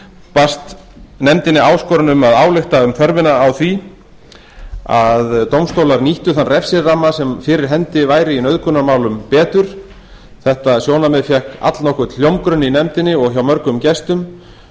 barst nefndinni áskorun um að álykta um þörfina á því að dómstólar nýttu þann refsiramma sem fyrir hendi væri í nauðgunarmálum betur þetta sjónarmið fékk allnokkurn hljómgrunn í nefndinni og hjá mörgum gestum